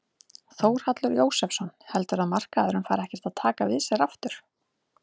Þórhallur Jósefsson: Heldurðu að markaðurinn fari ekkert að taka við sér aftur?